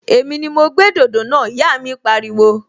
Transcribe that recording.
Èmi ni mo gbé dòdò náà! Ìyá mi pariwo